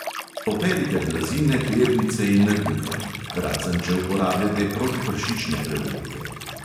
Operite blazine, pernice in rjuhe (razen če uporabljate protipršične prevleke).